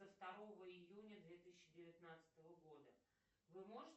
второго июня две тысячи девятнадцатого года вы можете